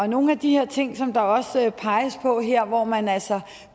nogle af de her ting som der også peges på her hvor man altså